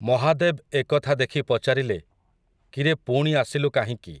ମହାଦେବ୍ ଏ କଥା ଦେଖି ପଚାରିଲେ, କିରେ ପୁଣି ଆସିଲୁ କାହିଁକି ।